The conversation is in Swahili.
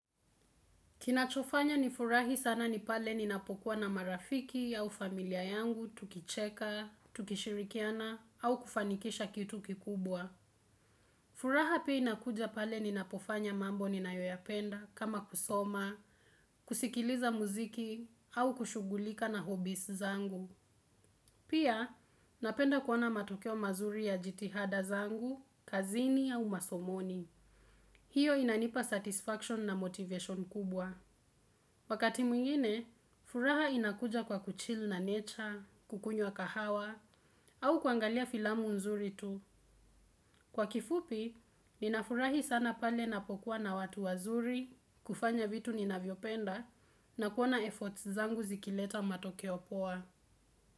Kinachofanya nifurahi sana ni pale ninapokuwa na marafiki au familia yangu tukicheka tukishirikiana au kufanikisha kitu kikubwa furaha pia inakuja pale ninapofanya mambo ninayoyapenda kama kusoma kusikiliza muziki au kushugulika na hobbies zangu Pia napenda kuona matokeo mazuri ya jitihada zangu kazini au masomoni hiyo inanipa satisfaction na motivation kubwa Wakati mwingine furaha inakuja kwa kuchill na nature kukunywa kahawa au kuangalia filamu nzuri tu Kwa kifupi ninafurahi sana pale napokuwa na watu wazuri kufanya vitu ninavyopenda na kuona efforts zangu zikileta matokeo poa.